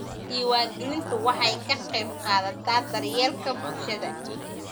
Diiwaangelintu waxay ka qaybqaadataa daryeelka bulshada.